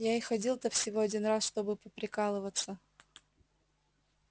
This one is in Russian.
я и ходил-то всего один раз чтобы поприкалываться